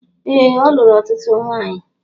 Ee, o lụrụ ọtụtụ nwanyị